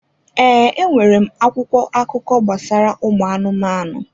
Ee, e nwere m akwụkwọ akụkọ gbasara ụmụ anụmanụ.